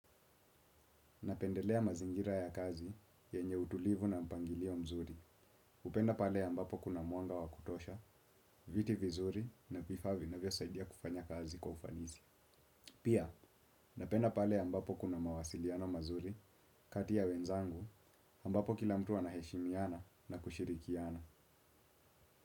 Napendelea mazingira ya kazi yenye utulivu na mpangilio mzuri. Napenda pale ambapo kuna mwanga wa kutosha viti vizuri na vifaa vinavyosaidia kufanya kazi kwa ufanisi pia napenda pale amabpo kuna mawasiliano mazuri kati ya wenzangu ambapo kila mtu anaheshimiana na kushirikiana.